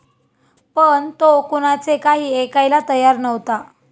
पण तो कुणाचे काही ऐकायला तयार नव्हता.